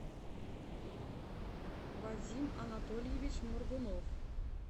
вадим анатольевич моргунов